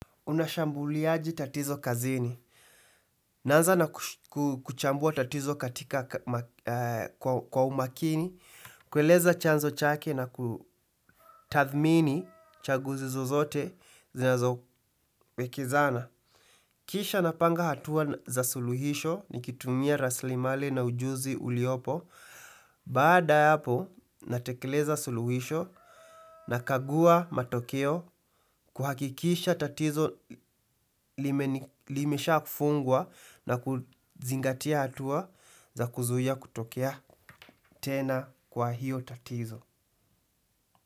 Unashambuliaje tatizo kazini. Naanza na kuchambua tatizo katika kwa umakini. Kueleza chanzo chake na kutathmini chaguzi zozote zinazowekezana. Kisha napanga hatua za suluhisho nikitumia raslimali na ujuzi uliopo. Baada ya hapo natekeleza suluhisho nakagua matokeo kuhakikisha tatizo limeshafungwa na kuzingatia hatua za kuzuia kutokea tena kwa hiyo tatizo.